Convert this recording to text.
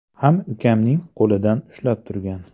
ham ukamning qo‘lidan ushlab turgan.